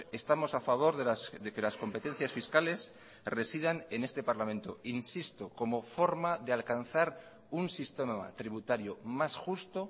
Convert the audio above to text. estamos a favor de que las competencias fiscales residan en este parlamento insisto como forma de alcanzar un sistema tributario más justo